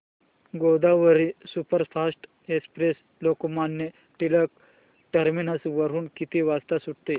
Godavari superfast express Lokmanya Tilak terminus वरून किती वाजता सुटते